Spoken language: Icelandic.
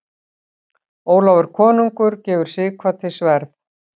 Ólafur konungur gefur Sighvati sverð.